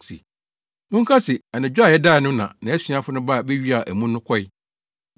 se, “Monka se, ‘Anadwo a yɛdae no na nʼasuafo no ba bewiaa amu no kɔe.’ ”